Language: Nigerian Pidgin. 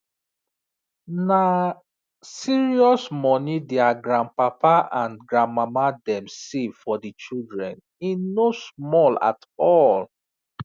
na serious money their grandpapa and grandmama dem save for the children e no small at all